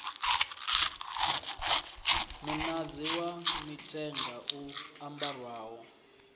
muṅadzi wa mithenga u ambarwaho